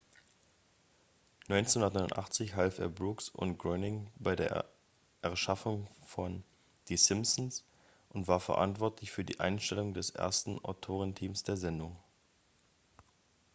1989 half er brooks und groening bei der erschaffung von die simpsons und war verantwortlich für die einstellung des ersten autorenteams der sendung